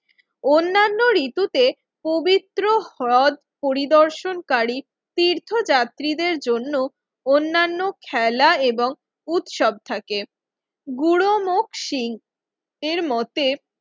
অন্যান্য ঋতুতে পবিত্র হ্রদ পরিদর্শনকারী তীর্থযাত্রীদের জন্য অন্যান্য খেলা এবং উৎসব থাকে গুরুমুখ শিংএর মতে